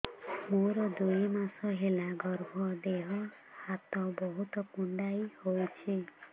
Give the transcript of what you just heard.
ମୋର ଦୁଇ ମାସ ହେଲା ଗର୍ଭ ଦେହ ହାତ ବହୁତ କୁଣ୍ଡାଇ ହଉଚି